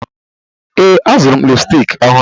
Ee, azụrụ m lipstiki ọhụrụ.